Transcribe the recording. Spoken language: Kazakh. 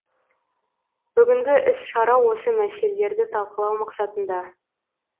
бүгінгі іс шара осы мәселелерді талқылау мақсатында